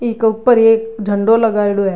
बि के ऊपर एक झंडो लगायेडॉ है।